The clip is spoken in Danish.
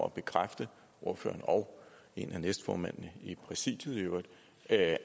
at bekræfte ordføreren og en af næstformændene i præsidiet i øvrigt at